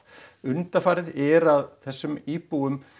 undanfarið er að þessum íbúum